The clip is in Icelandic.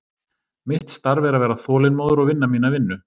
Mitt starf er að vera þolinmóður og vinna mína vinnu.